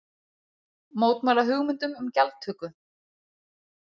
Mótmæla hugmyndum um gjaldtöku